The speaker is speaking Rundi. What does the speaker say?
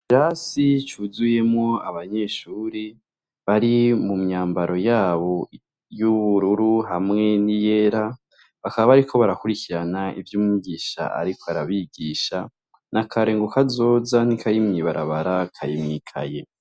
Ikirasi cuzuyemw' abanyeshure bari mu myambaro yabo y' ubururu hamwe ni yera, bakaba bariko barakurikiran' ivyumwigish' arik' arabigisha, nakare ng' akazoza ntikari mwibarabara kari mwikaye.